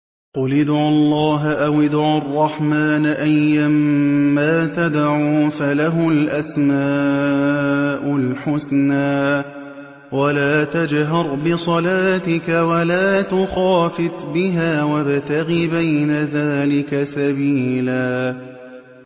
قُلِ ادْعُوا اللَّهَ أَوِ ادْعُوا الرَّحْمَٰنَ ۖ أَيًّا مَّا تَدْعُوا فَلَهُ الْأَسْمَاءُ الْحُسْنَىٰ ۚ وَلَا تَجْهَرْ بِصَلَاتِكَ وَلَا تُخَافِتْ بِهَا وَابْتَغِ بَيْنَ ذَٰلِكَ سَبِيلًا